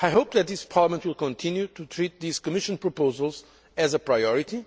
I hope that this Parliament will continue to treat these Commission proposals as a priority,